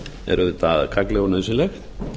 er auðvitað gagnleg og nauðsynleg